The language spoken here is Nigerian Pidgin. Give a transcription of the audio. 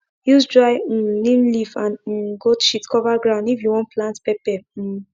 use dry um neem leaf and um goat shit cover ground if you wan plant pepper um